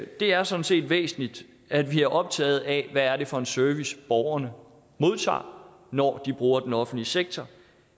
det er sådan set væsentligt at vi er optaget af hvad det er for en service borgerne modtager når de bruger den offentlige sektor